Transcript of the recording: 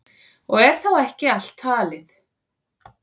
Og er þá ekki allt talið.